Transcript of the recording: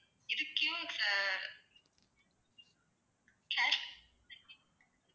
இது